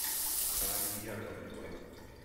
сани яковлева